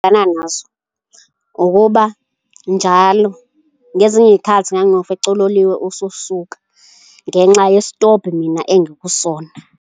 nazo ukuba njalo ngezinye iy'khathi ngangiwufica uloliwe ususuka ngenxa yesitobhi mina engikusona.